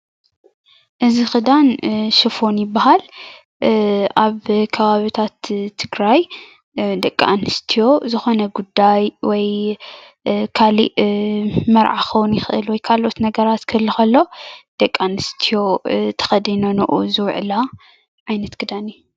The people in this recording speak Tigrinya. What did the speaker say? እዚ ክዳን ሹፈን ይበሃል አብ ከባብቲት ትግራይ ደቂ አነስትዮ ዝኮነ ጉዳይ ወይ ካሊእ መርዓ ክከውን ይክእል ክከውን ይክእል ወይ ካልኦት ነገራት ክህሉ ከሎ ደቂ አነስትዮ ተከዲነንኦ ዝውዕላ ዓይነት ክዳን እዩ።